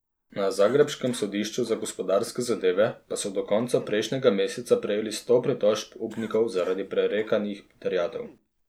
Na zagrebškem sodišču za gospodarske zadeve pa so do konca prejšnjega meseca prejeli sto pritožb upnikov zaradi prerekanih terjatev.